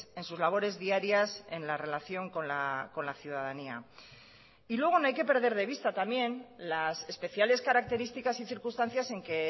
en sus labores diarias en la relación con la ciudadanía y luego no hay que perder de vista también las especiales características y circunstancias en que